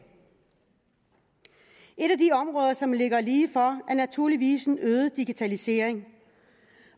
et af de områder som ligger lige for er naturligvis en øget digitalisering